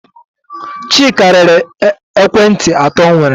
Chika rere ekwentị atọ o nwere.